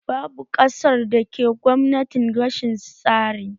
Babu ƙasar da ke Gwamnatin rashin tsari